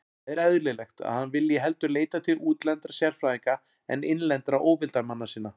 Það er eðlilegt, að hann vilji heldur leita til útlendra sérfræðinga en innlendra óvildarmanna sinna.